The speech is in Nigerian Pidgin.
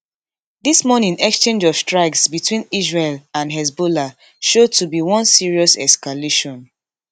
dis morning exchange of strikes between israel and hezbollah show to be one serious escalation